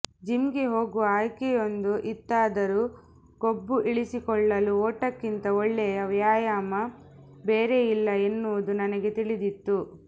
ಜಿಮ್ಗೆ ಹೋಗುವ ಆಯ್ಕೆಯೊಂದು ಇತ್ತಾದರೂ ಕೊಬ್ಬು ಇಳಿಸಿಕೊಳ್ಳಲು ಓಟಕ್ಕಿಂತ ಒಳ್ಳೆಯ ವ್ಯಾಮಾಮ ಬೇರೆಯಿಲ್ಲ ಎನ್ನುವುದು ನನಗೆ ತಿಳಿದಿತ್ತು